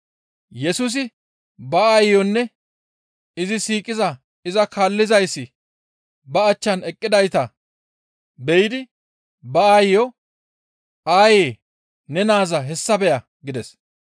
Yesusi ba aayeyonne izi siiqiza iza kaallizayssi ba achchan eqqidayta be7idi ba aayeyo, «Aayee! Ne naaza hessa beya» gides.